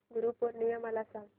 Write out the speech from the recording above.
गुरु पौर्णिमा मला सांग